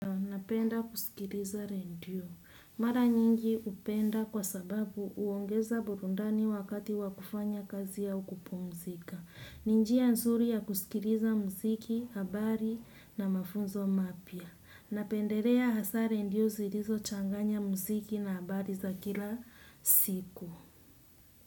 Napenda kusikiliza redio. Mara nyingi upenda kwa sababu uongeza burundani wakati wakufanya kazi ya kupumzika. Ninjia nzuri ya kusikiliza mziki, habari na mafunzo mapia. Napendelea hasa redio zilizo changanya mziki na habari za kila siku.